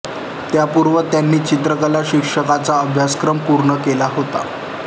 त्यापूर्वी त्यांनी चित्रकला शिक्षकाचा अभ्यासक्रम पूर्ण केला होता